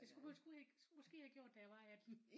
Det skulle du skulle ikke måske have gjort da jeg var 18